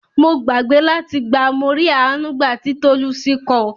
Mo gbàgbé láti gba "Morí Àánú gbà" ti Tolucci ko.